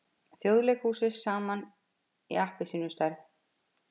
Þjóðleikhúsið saman í appelsínustærð.